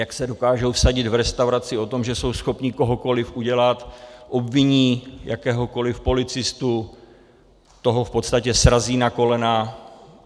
Jak se dokážou vsadit v restauraci o tom, že jsou schopni kohokoliv udělat, obviní jakéhokoliv policistu, toho v podstatě srazí na kolena.